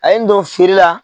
A ye n don feere la.